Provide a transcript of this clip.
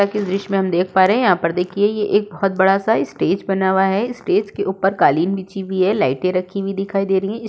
अ कि इस दृश्य में हम देख पा रहे हैं यहाँ पर देखिए ये एक बोहोत बड़ा सा स्टेज बना वा है। स्टेज के ऊपर कालीन बिछी वी है। लाइटें रखी हुई दिखाई दे रहीं है। इस --